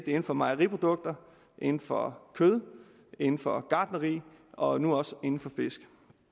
inden for mejeriprodukter inden for kød inden for gartneri og nu også inden for fisk